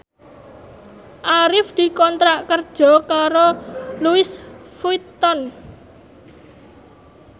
Arif dikontrak kerja karo Louis Vuitton